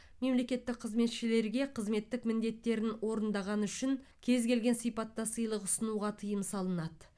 мемлекеттік қызметшілерге қызметтік міндеттерін орындағаны үшін кез келген сипатта сыйлық ұсынуға тыйым салынады